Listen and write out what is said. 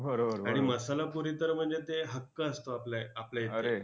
आणि मसाला पुरी तर म्हणजे ते हक्क असतो आपल्या इकडे!